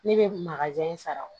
Ne bɛ makaja in sara